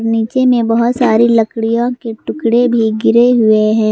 नीचे में बहोत सारी लकड़ियों के टुकड़े भी गिरे हुए हैं।